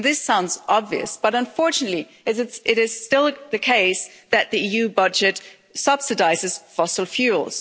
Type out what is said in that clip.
This sounds obvious, but unfortunately it is still the case that the EU budget subsidises fossil fuels.